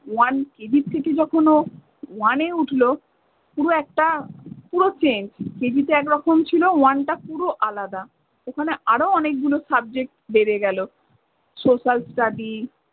OneKG থেকে যখন ও one এ উঠলো পুরো একটা পুরো changeKG তে একরকম ছিল one টা পুরো আলাদা। ওখানে আরো অনেক গুলো subject বেড়ে গেলো। Social study